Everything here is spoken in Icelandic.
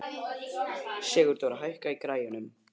Sigurdóra, hækkaðu í græjunum.